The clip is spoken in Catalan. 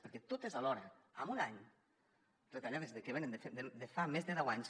perquè totes alhora en un any retallades que venen de fa més de deu anys